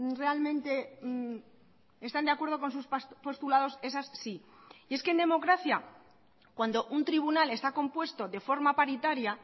realmente están de acuerdo con sus postulados esas sí y es que en democracia cuando un tribunal está compuesto de forma paritaria